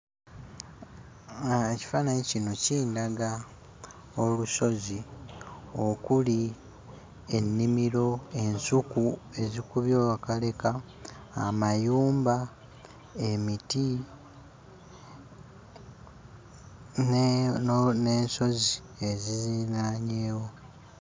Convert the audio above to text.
Ekifaananyi kino kindaga olusozi okuli ennimiro, ensuku ezikubye akaleka, amayumba emiti ne no n'ensozi eziziriraanyewo.